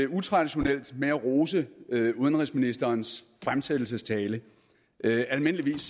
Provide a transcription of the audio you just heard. utraditionelt med at rose udenrigsministerens fremsættelsestale almindeligvis